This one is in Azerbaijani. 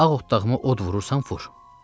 Ağ otdağımı od vurursan, vur.